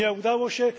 Nie udało się.